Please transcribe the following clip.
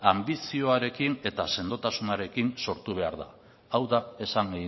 anbizioarekin eta sendotasunarekin sortu behar da hau da esan